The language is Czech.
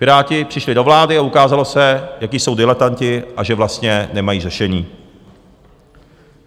Piráti přišli do vlády a ukázalo se, jací jsou diletanti a že vlastně nemají řešení.